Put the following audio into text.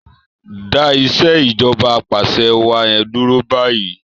Dá Ìṣèjọba Apàṣẹwàá yen dúró bayi!